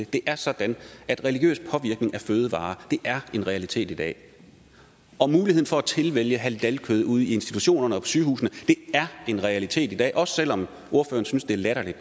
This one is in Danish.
det er sådan at religiøs påvirkning af fødevarer er en realitet i dag og muligheden for at tilvælge halalkød ude i institutionerne og sygehusene er en realitet i dag også selv om ordføreren synes det er latterligt